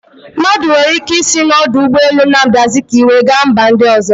Mmadụ nwere ike isi na ọdụ ụgbọ elu Nnamdi azikwe gaa mba ndị ọzọ